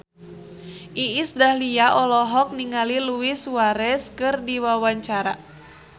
Iis Dahlia olohok ningali Luis Suarez keur diwawancara